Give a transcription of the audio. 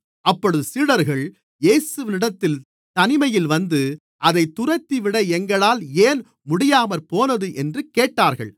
அப்பொழுது சீடர்கள் இயேசுவினிடத்தில் தனிமையில் வந்து அதைத் துரத்திவிட எங்களால் ஏன் முடியாமற்போனது என்று கேட்டார்கள்